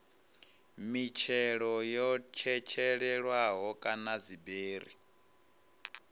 mitshelo yo tshetshelelwaho kana dziberi